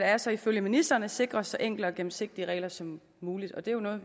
er så ifølge ministeren at sikre så enkle og gennemsigtige regler som muligt og det er jo noget